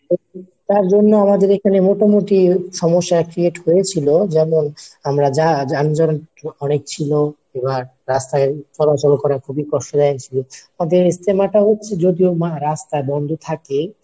তারজন্যে আমাদের এখানে মোটামুটি সমস্যা create হয়েছিল যেমন আমরা যান যানজট অনেক ছিল, পুরা রাস্তায় চলাচল করা খুবই কষ্ট হয়েছিল আমাদের ইজতেমা টা হচ্ছে যদিও রাস্তা বন্ধ থাকে